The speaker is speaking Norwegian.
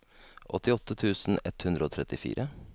åttiåtte tusen ett hundre og trettifire